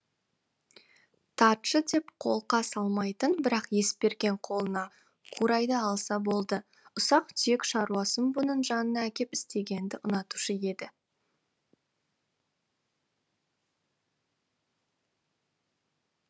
тартшы деп қолқа салмайтын бірақ есберген қолына қурайды алса болды ұсақ түйек шаруасын бұның жанына әкеп істегенді ұнатушы еді